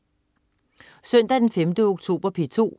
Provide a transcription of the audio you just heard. Søndag den 5. oktober - P2: